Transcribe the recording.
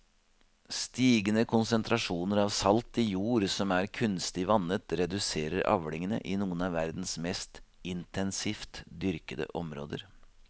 Stigende konsentrasjoner av salt i jord som er kunstig vannet reduserer avlingene i noen av verdens mest intensivt dyrkede områder.